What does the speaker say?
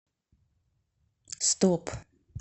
стоп